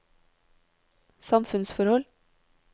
samfunnsforhold